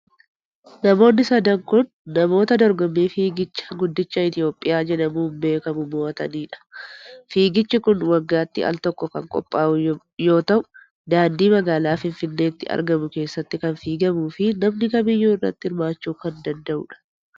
Namoonni sadan kun, namoota dorgommii Fiigicha Guddicha Itoophiyaa jedhamuun beekamu mo'atanii dha. Fiigichi kun, waggaatti al tokko kan qophaa'u yoo ta'u, daandii magaalaa finfinneetti argamu keessatti kan fiigamuu fi namni kamiyyuu irratti hirmaachuu kan danda'uu dha.